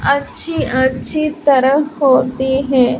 अच्छी अच्छी तरह होती हैं।